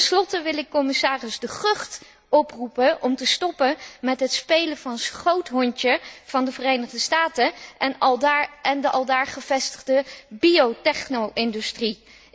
Ten slotte wil ik commissaris De Gucht oproepen om te stoppen met het spelen van schoothondje van de Verenigde Staten en de aldaar gevestigde bio techno industrie.